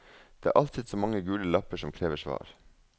Det er alltid så mange gule lapper som krever svar.